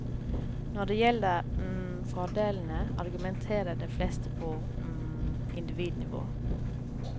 Når det gjelder fordelene, argumenterer de fleste på individnivå.